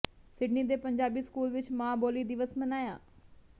Sydney ਦੇ Punjabi school ਵਿੱਚ ਮਾਂ ਬੋਲੀ ਦਿਵਸ ਮਨਾਇਆ